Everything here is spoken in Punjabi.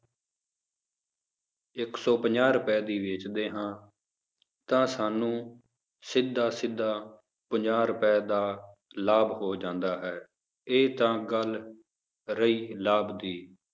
ਇੱਕ ਸੌ ਪੰਜਾਹ ਰੁਪਏ ਦੀ ਵੇਚਦੇ ਹਾਂ ਤਾਂ ਸਾਨੂੰ ਸਿੱਧਾ ਸਿੱਧਾ ਪੰਜਾਹ ਰੁਪਏ ਦਾ ਲਾਭ ਹੋ ਜਾਂਦਾ ਹੈ ਇਹ ਤਾਂ ਗੱਲ ਰਹੀ ਲਾਭ ਦੀ